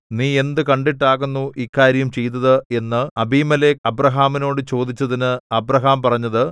നീ എന്ത് കണ്ടിട്ടാകുന്നു ഇക്കാര്യം ചെയ്തത് എന്ന് അബീമേലെക്ക് അബ്രാഹാമിനോട് ചോദിച്ചതിന് അബ്രാഹാം പറഞ്ഞത്